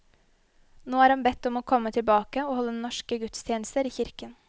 Nå er han bedt om å komme tilbake og holde norske gudstjenester i kirken.